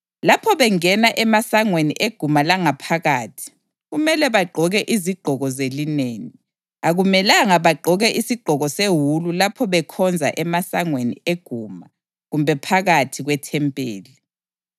Lapho bengena emasangweni eguma langaphakathi kumele bagqoke izigqoko zelineni; akumelanga bagqoke isigqoko sewulu lapho bekhonza emasangweni eguma kumbe phakathi kwethempeli.